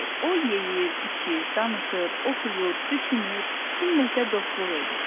O yeyir, içir, danışır, oxuyur, düşünür, kimləsə dostluq edir.